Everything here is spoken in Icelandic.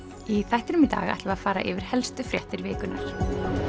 í þættinum í dag ætlum við að fara yfir helstu fréttir vikunnar